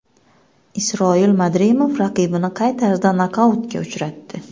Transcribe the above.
Isroil Madrimov raqibini qay tarzda nokautga uchratdi?